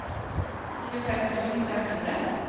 tjuefem tusen og fem hundre